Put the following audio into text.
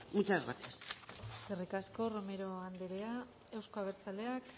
fascismo muchas gracias eskerrik asko romero anderea euzkoa abertzaleak